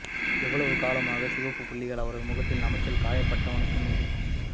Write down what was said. எவ்வளவு காலமாக சிவப்பு புள்ளிகள் அவரது முகத்தில் நமைச்சல் காயப்பட்டவனுக்கு மீது